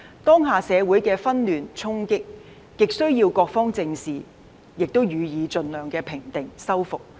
當下社會的紛亂、衝擊，極須各方正視並予以盡量平定、修復。